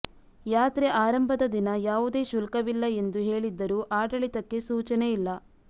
ಯಾತ್ರೆ ಆರಂಭದ ದಿನ ಯಾವುದೇ ಶುಲ್ಕವಿಲ್ಲ ಎಂದು ಹೇಳಿದ್ದರೂ ಆಡಳಿತಕ್ಕೆ ಸೂಚನೆ ಇಲ್ಲ